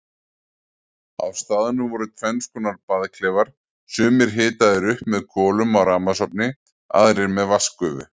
Á staðnum voru tvennskonar baðklefar, sumir hitaðir upp með kolum á rafmagnsofni, aðrir með vatnsgufu.